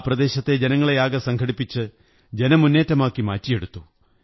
ആ പ്രദേശത്തെ ജനങ്ങളെയാകെ സംഘടിപ്പിച്ച് ജനമുന്നേറ്റമാക്കി മാറ്റിയെടുത്തു